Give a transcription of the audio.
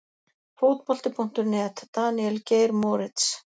Fótbolti.net- Daníel Geir Moritz